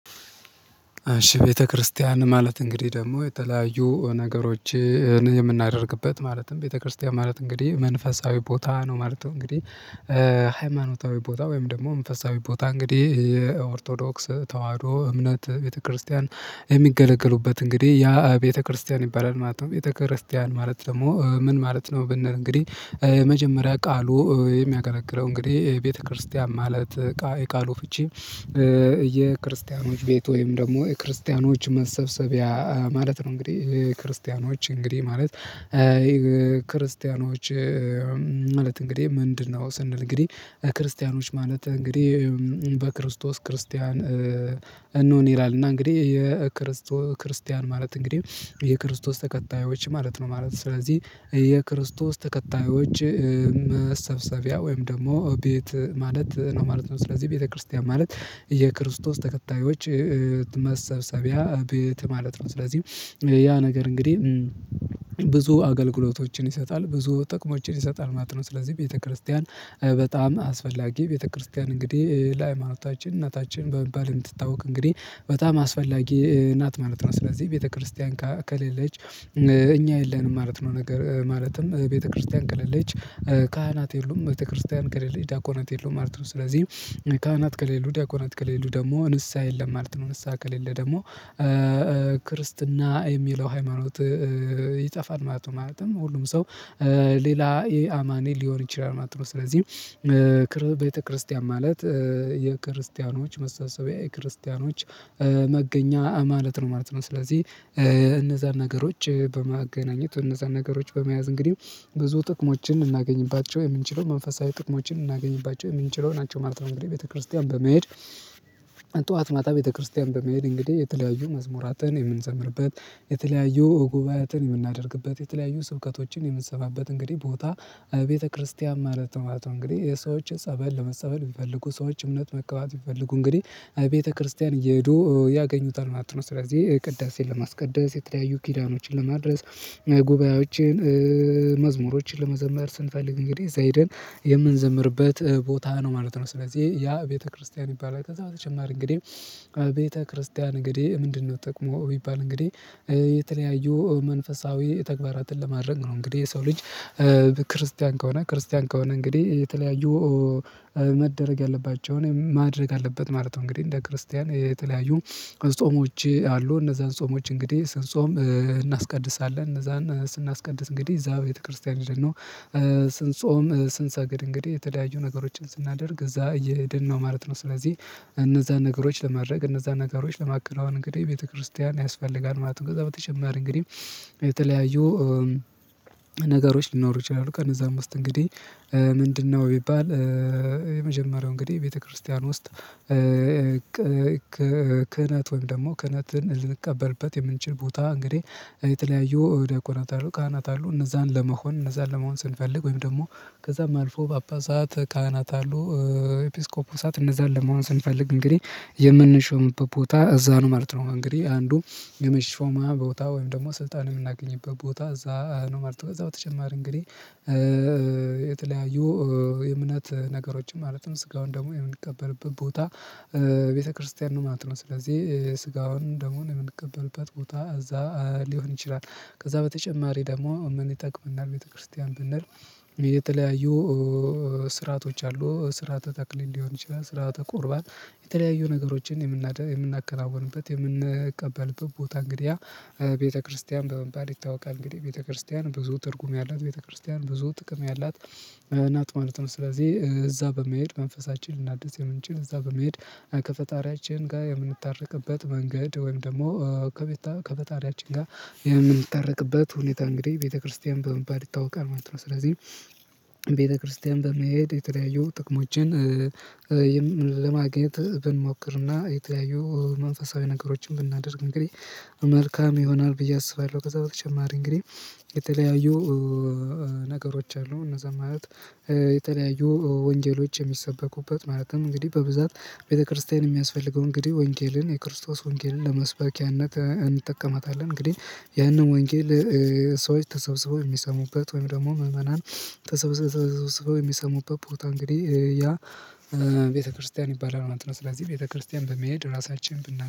እሺ ቤተክርስቲያን ማለት እንግዲህ ደግሞ የተለያዩ ነገሮችን የምናደርግበት ማለትም ቤተክርስቲያን ማለት እንግዲህ መንፈሳዊ ቦታ ነው ማለት ነው እንግዲህ ሃይማኖታዊ ቦታ ወይም ደግሞ መንፈሳዊ ቦታ እንግዲህ የኦርቶዶክስ ተዋህዶ እምነት ቤተክርስቲያን የሚገለገሉበት እንግዲህ ያ ቤተክርስቲያን ይባላል ማለት ነው። ቤተክርስቲያን ማለት ደግሞ ምን ማለት ነው? ብንል እንግዲህ መጀመሪያ ቃሉ የሚያገለግለው እንግዲህ ቤተክርስቲያን ማለት የቃሉ ፍቺ የክርስቲያኖች ቤት ወይም ደግሞ የክርስቲያኖች መሰብሰቢያ ማለት ነው። እንግዲህ ክርስቲያኖች እንግዲህ ማለት። ክርስቲያኖች ማለት እንግዲህ ምንድን ነው? ስንል እንግዲህ ክርስቲያኖች ማለት እንግዲህ በክርስቶስ ክርስቲያን እንሁን ይላል። እና እንግዲህ የክርስቶ ክርስቲያን ማለት እንግዲህ የክርስቶስ ተከታዮች ማለት ነው ማለት ነው። ስለዚህ የክርስቶስ ተከታዮች መሰብሰቢያ ወይም ደግሞ ቤት ማለት ነው ማለት ነው። ስለዚህ ቤተክርስቲያን ማለት የክርስቶስ ተከታዮች መሰብሰቢያ ቤት ማለት ነው። ስለዚህ ያ ነገር እንግዲህ ብዙ አገልግሎቶችን ይሰጣል ብዙ ጥቅሞችን ይሰጣል ማለት ነው። ስለዚህ ቤተክርስቲያን በጣም አስፈላጊ ቤተክርስቲያን እንግዲህ ለሃይማኖታችን እናታችን በመባል የምትታወቅ እንግዲህ በጣም አስፈላጊ እናት ማለት ነው። ስለዚህ ቤተክርስቲያን ከሌለች እኛ የለንም ማለት ነው። ነገር ማለትም ቤተክርስቲያን ከለለች ካህናት የሉም ቤተክርስቲያን ከሌለ ዲያቆናት የለውም ማለት ነው። ስለዚህ ካህናት ከሌለው ዲያቆናት ከሌለው ደግሞ ንስሃ የለም ማለት ነው። ንስሃ ከሌለ ደግሞ ክርስትና የሚለው ሃይማኖት ይጠፋል ማለት ነው። ማለትም ሁሉም ሰው ሌላ ኢ አማኔ ሊሆን ይችላል ማለት ነው። ስለዚህ ቤተክርስቲያን ማለት የክርስቲያኖች መሰብሰቢያ የክርስቲያኖች መገኛ ማለት ነው ማለት ነው። ስለዚህ እነዛን ነገሮች በማገናኘት እነዛን ነገሮች በመያዝ እንግዲህ ብዙ ጥቅሞችን ልናገኝባቸው የምንችለው መንፈሳዊ ጥቅሞችን ልናገኝባቸው የምንችለው ናቸው ማለት ነው። እንግዲህ ቤተክርስቲያን በመሄድ ጠዋት ማታ ቤተክርስቲያን በመሄድ እንግዲህ የተለያዩ መዝሙራትን የምንዘምርበት የተለያዩ ጉባኤትን የምናደርግበት የተለያዩ ስብከቶችን የምንሰማበት እንግዲህ ቦታ ቤተክርስቲያን ማለት ምን ማለት ነው? እንግዲህ የሰዎች ጸበል ለመጸበል ቢፈልጉ ሰዎች እምነት መቀባት ቢፈልጉ እንግዲህ ቤተክርስቲያን እየሄዱ ያገኙታል ማለት ነው። ስለዚህ ቅዳሴን ለማስቀደስ የተለያዩ ኪዳኖችን ለማድረስ ጉባኤዎችን መዝሙሮችን ለመዘምር ስንፈልግ እንግዲህ እዛ ሂደን የምንዘምርበት ቦታ ነው ማለት ነው። ስለዚህ ያ ቤተክርስቲያን ይባላል ከዛ በተጨማሪ እንግዲህ ቤተክርስቲያን እንግዲህ ምንድን ነው? ጥጠቅሙ ቢባል እንግዲህ የተለያዩ መንፈሳዊ ተግባራትን ለማድረግ ነው። እንግዲህ የሰው ልጅ ክርስቲያን ከሆነ ክርስቲያን ከሆነ እንግዲህ የተለያዩ መደረግ ያለባቸውን ማድረግ አለበት ማለት ነው። እንግዲህ እንደ ክርስቲያን የተለያዩ ጾሞች አሉ እነዛን ጾሞች እንግዲህ ስንጾም እነዛን ስናስቀድስ እንግዲህ እዛ ቤተክርስቲያን ሂደን ነው። ስንሰግድ እንግዲህ የተለያዩ ነገሮችን ስናደርግ እዛ እየሄድ ነው ማለት ነው። ስለዚህ እነዛን ነገሮች ለማድረግ እነዛን ነገሮች ለማከናወን እንግዲህ ቤተክርስቲያን ያስፈልጋል ማለት ነው። ከዛ በተጨማሪ እንግዲህ የተለያዩ ነገሮች ሊኖሩ ይችላሉ ከነ እዛም ውስጥ እንግዲህ ምንድን ነው ቢባል? የመጀመሪያው እንግዲህ ቤተክርስቲያን ውስጥ። ክህነት ወይም ደግሞ ክህነትን ልንቀበልበት የምንችል ቦታ እንግዲህ የተለያዩ ዲያቆናት አሉ ካህናት አሉ እነዛን ለመሆን እነዛን ለመሆን ስንፈልግ ወይም ደግሞ ከዛም አልፎ ጳጳሳት ካህናት አሉ ኤጲስቆጶሳት እነዛን ለመሆን ስንፈልግ እንግዲህ የምንሾምበት ቦታ እዛ ነው ማለት ነው። እንግዲህ አንዱ የመሾማ ቦታ ወይም ደግሞ ስልጣን የምናገኝበት ቦታ እዛ ነው ማለት ነው። ከዛ በተጨማሪ እንግዲህ የተለያዩ የእምነት ነገሮችም ማለትም ስጋውን ደሙን የምንቀበልበት ቦታ ቤተክርስቲያን ነው ማለት ነው። ስለዚህ ስጋውን ደሙን የምንቀበልበት ቦታ እዛ ሊሆን ይችላል። ከዛ በተጨማሪ ደግሞ ምን ይጠቅመናል? ቤተክርስቲያን ብንል? የተለያዩ ስርዓቶች አሉ ስርዓተ ተክሊል ሊሆን ይችላል ስሪዓተ ቁርባን የተለያዩ ነገሮችን የምናደርግ የምናከናውንበት የምንቀበልበት ቦታ እንግዲያ ቤተክርስቲያን በመባል ይታወቃል። እንግዲህ ቤተክርስቲያን ብዙ ትርጉም ያላት ቤተክርስቲያን ብዙ ጥቅም ያላት ናት ማለት ነው። ስለዚህ እዛ በመሄድ መንፈሳችን ልናደስ የምንችል እዛ በመሄድ ከፈጣሪያችን ጋር የምንታረቅበት መንገድ ወይም ደግሞ ከቤት ከፈጣሪያችን ጋር የምንታረቅበት ሁኔታ እንግዲህ ቤተክርስቲያን በመባል ይታወቃል ማለት ነው። ስለዚህ ቤተክርስቲያን በመሄድ የተለያዩ ጥቅሞችን ለማግኘት ብንሞክርና የተለያዩ መንፈሳዊ ነገሮችን ብናደርግ እንግዲህ መልካም ይሆናል ብዬ አስባለሁ። ከዛ በተጨማሪ እንግዲህ የተለያዩ ነገሮች አሉ እነዛ ማለት የተለያዩ ወንጌሎች የሚሰበኩበት ማለትም እንግዲህ በብዛት ቤተክርስቲያን የሚያስፈልገው እንግዲህ ወንጌልን የክርስቶስ ወንጌልን ለመስበኪያነት እንጠቀማታለን። እንግዲህ ያንን ወንጌል ሰዎች ተሰብስበው የሚሰሙበት ወይም ደግሞ ምዕመናን የሚሰሙበት ቦታ እንግዲህ ያ ቤተክርስቲያን ይባላል ማለት ነው። ስለዚህ ቤተክርስቲያን በመሄድ ራሳችንን ብናምን